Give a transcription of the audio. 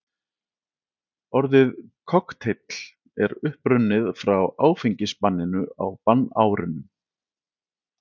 Orðið kokteill er upprunnið frá áfengisbanninu á bannárunum.